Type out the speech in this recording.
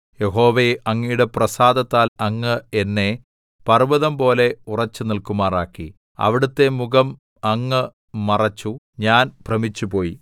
യഹോവേ അങ്ങയുടെ പ്രസാദത്താൽ അങ്ങ് എന്നെ പർവ്വതം പോലെ ഉറച്ചു നില്‍ക്കുമാറാക്കി അവിടുത്തെ മുഖം അങ്ങ് മറച്ചു ഞാൻ ഭ്രമിച്ചുപോയി